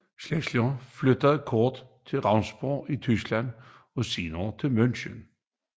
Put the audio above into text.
Schindler flyttede kort til Regensburg i Tyskland og senere til München